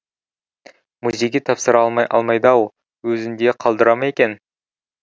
музейге тапсыра алмайды ау өзінде қалдыра ма екен